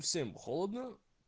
всем холодно